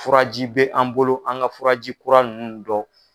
Furaji bɛ an bolo an ka furaji kura ninnu dɔ.